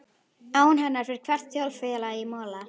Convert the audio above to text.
Án hennar fer hvert þjóðfélag í mola.